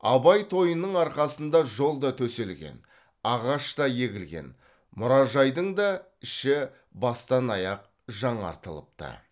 абай тойының арқасында жол да төселген ағаш та егілген мұражайдың да іші бастан аяқ жаңартылыпты